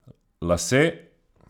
Lase?